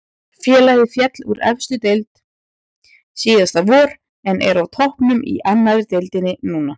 Félagið féll úr efstu deild síðasta vor en er á toppnum í annari deildinni núna.